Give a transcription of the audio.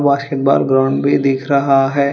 Basketball ground भी दिख रहा है।